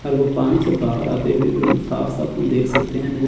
और वो पानी से बाहर आते हुए बिलकुल साफ साफ हम देख सकते हैं।